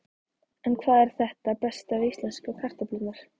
En hvað er það besta við íslensku kartöflurnar?